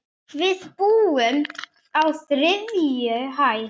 Við búum á þriðju hæð.